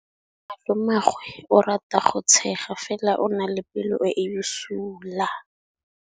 Malomagwe o rata go tshega fela o na le pelo e e bosula.